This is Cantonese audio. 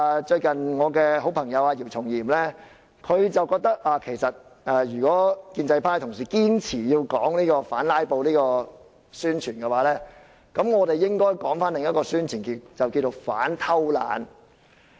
最近我的好朋友姚松炎覺得如果建制派同事堅持要以反"拉布"來進行宣傳，我們應該進行另一種宣傳，那便是反偷懶。